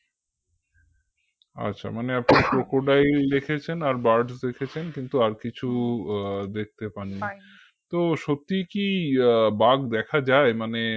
আচ্ছা মানে আপনারা crocodile দেখেছেন আর birds দেখেছেন কিন্তু আর কিছু আহ দেখতে পাননি তো সত্যিই কি আহ বাঘ দেখা যায় মানে